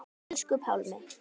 Elsku Pálmi.